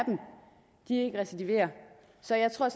dem ikke recidiverer så jeg tror